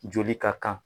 Joli ka kan